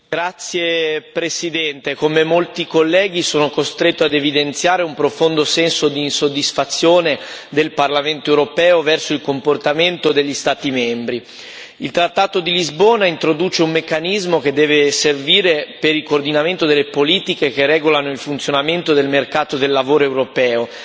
Signor Presidente, onorevoli colleghi, come molti colleghi sono costretto ad evidenziare un profondo senso di insoddisfazione del Parlamento europeo verso il comportamento degli Stati membri. Il trattato di Lisbona introduce un meccanismo che deve servire per il coordinamento delle politiche che regolano il funzionamento del mercato del lavoro europeo.